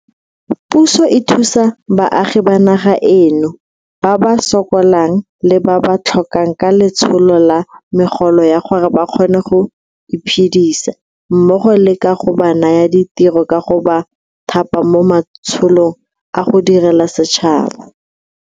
Puso e thusa baagi ba naga eno ba ba sokolang le ba ba tlhokang ka letsholo la megolo ya gore ba kgone go iphedisa mmogo le ka go ba naya ditiro ka go ba thapa mo matsholong a go direla setšhaba.